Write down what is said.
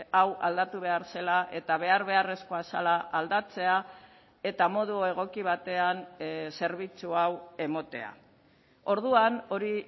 hau aldatu behar zela eta behar beharrezkoa zela aldatzea eta modu egoki batean zerbitzu hau ematea orduan hori